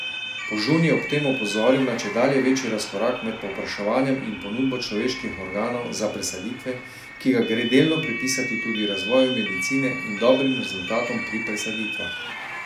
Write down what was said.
Požun je ob tem opozoril na čedalje večji razkorak med povpraševanjem in ponudbo človeških organov za presaditve, ki ga gre delno pripisati tudi razvoju medicine in dobrim rezultatom pri presaditvah.